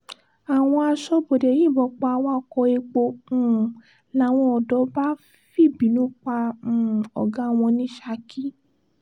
àwọn asọ̀bọ̀dé yìnbọn pa awakọ̀ epo um làwọn odò bá fìbínú pa um ọ̀gá wọn ní saki